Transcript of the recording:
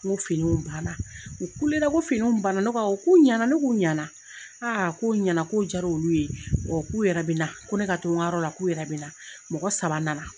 N ko finiw banna, u kulela ko finiw banna, ne ko awɔ . K'u ɲɛna? Ne k'u ɲɛna . Ko a ɲɛna k'o jara olu ye. k'u yɛrɛ bɛ na. Ko ne ka to u ka yɔrɔ la, k'u yɛrɛ bɛ na.